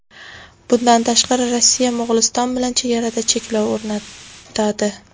Bundan tashqari, Rossiya Mo‘g‘uliston bilan chegarada cheklov o‘rnatadi.